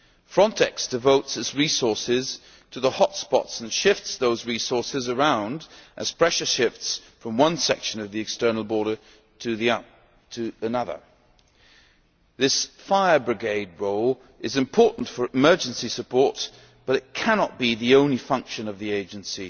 FRONTEX devotes its resources to the hotspots and shifts those resources around as pressure shifts from one section of the external border to another. This fire brigade role is important for emergency support but it cannot be the only function of the agency.